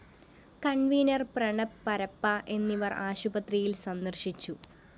convener‍ Pranab Parappa എന്നിവര്‍ ആശുപത്രിയില്‍ സന്ദര്‍ശിച്ചു